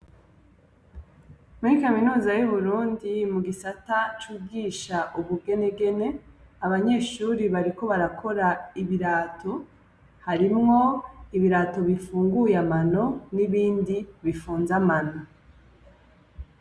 Muri Kaminuza y'Uburundi mu Gisata cigisha ubugenegene, abanyeshuri bariko barakora ibirato. Harimwo ibirato bipfunguye amano n'ibindi bipfunze amano.